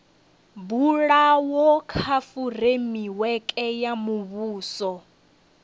bulwaho kha fureimiweke ya muvhuso